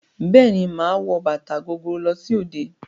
Bẹ́ẹ̀ ni, màá wọ bàtà gogoro lọ sí òde.